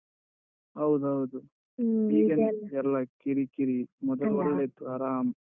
ಹೌದೌದು. ಎಲ್ಲ ಕಿರಿಕಿರಿ ಒಳ್ಳೆ ಇತ್ತು ಆರಾಮ್.